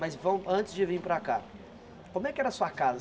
Mas vão antes de vir para cá, como é que era a sua casa?